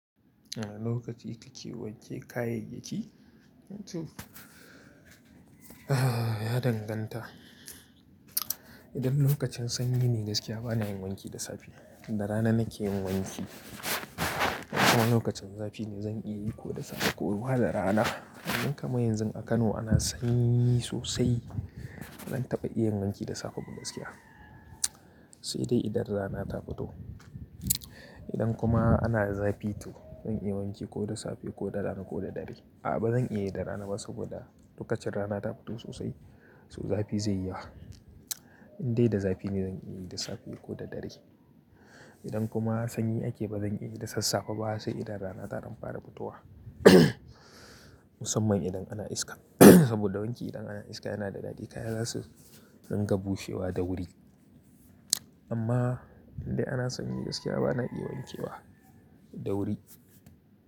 A lokaci kake wanke kayayyaki? Ya danganta. Idan lokacin sanyi ne gaskiya bana yin wanki da safe da rana nake yin wanki. Kuma lokacin zafi ne zan iya yi ko da safe koma da rana. Idan kama yanzu a Kano ana sanyi sosai, ba zan taɓa iya yin wanki da safe ba gaskiya. Sai dai idan rana ta fito. Idan kuma ana zafi to zan iya wanki ko da safe ko da rana ko da dare. A'a ba zan iya yi da rana ba saboda lokacin rana ta fito sosai, so zafi zai yi yawa. Indai da zafi ne zan iya yi da safe ko da dare. Idan kuma sanyi ake ba zan iya yi da sassafe ba sai idan rana ta ɗan fara fitowa. Musamman idan ana iska saboda wanki idan ana iska yana da dadi kaya zasu dinga bushewa da wuri. Amma indai ana sanyi gaskiya bana iya wanke wa da wuri.